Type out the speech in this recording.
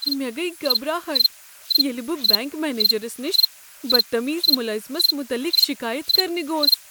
مےٚ گٔیۍ گبراہٹ ییٚلہ بہٕ بینٛک منیجرس نش بدتمیز ملٲزمس متعلق شکایت کرنہِ گوس۔